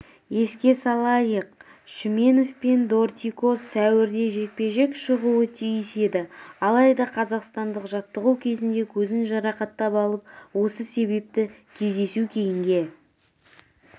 еске салайық шүменов пен дортикос сәуірде жекпе-жекке шығуы тиіс еді алайда қазақстандық жаттығу кезінде көзін жарақаттап алып осы себепті кездесу кейінге